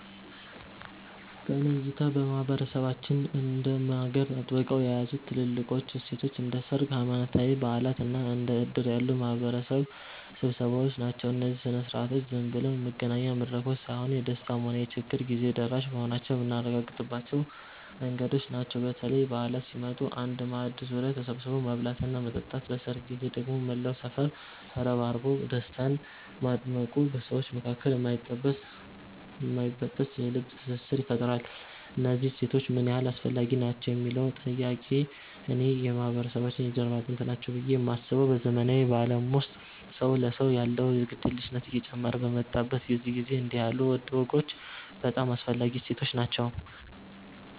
በእኔ እይታ ማህበረሰባችንን እንደ ማገር አጥብቀው የያዙት ትልልቆቹ እሴቶቻችን እንደ ሰርግ፣ ሃይማኖታዊ በዓላት እና እንደ ዕድር ያሉ የማህበረሰብ ስብሰባዎች ናቸው። እነዚህ ሥነ ሥርዓቶች ዝም ብለው የመገናኛ መድረኮች ሳይሆኑ፣ የደስታም ሆነ የችግር ጊዜ ደራሽ መሆናችንን የምናረጋግጥባቸው መንገዶች ናቸው። በተለይ በዓላት ሲመጡ በአንድ ማዕድ ዙሪያ ተሰብስቦ መብላትና መጠጣት፣ በሰርግ ጊዜ ደግሞ መላው ሰፈር ተረባርቦ ደስታን ማድመቁ በሰዎች መካከል የማይበጠስ የልብ ትስስር ይፈጥራል። እነዚህ እሴቶች ምን ያህል አስፈላጊ ናቸው ለሚለዉ ጥያቄ፣ እኔ የማህበረሰባችን የጀርባ አጥንት ናቸው ብዬ ነው የማስበው። በዘመናዊው ዓለም ውስጥ ሰው ለሰው ያለው ግድየለሽነት እየጨመረ በመጣበት በዚህ ጊዜ፣ እንዲህ ያሉ ወጎች እጅግ በጣም አስፈላጊ እሴቶች ናቸው።